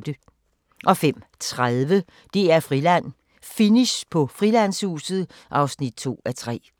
05:30: DR-Friland: Finish på Frilandshuset (2:3)